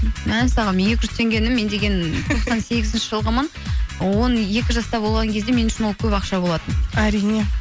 мәссаған екі жүз теңгені мен деген тоқсан сегізінші жылғымын он екі жаста болған кезде мен үшін ол көп ақша болатын әрине